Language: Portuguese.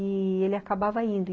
E ele acabava indo.